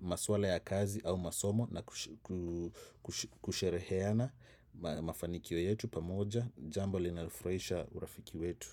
maswala ya kazi au masomo na kushereheana mafanikio yetu pamoja jambo linalofurahisha urafiki wetu.